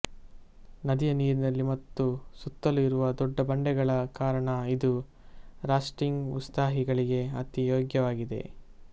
ನದಿಯ ನೀರಿನಲ್ಲಿ ಮತ್ತು ಸುತ್ತಲು ಇರುವ ದೊಡ್ಡ ಬಂಡೆಗಳ ಕಾರಣ ಇದು ರಾಫ್ಟಿಂಗ್ ಉತ್ಸಾಹಿಗಳಿಗೆ ಅತಿ ಯೋಗ್ಯವಾಗಿದೆ